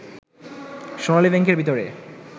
সোনালী ব্যাংকের ভিতরে